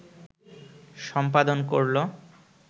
সম্পাদন করলো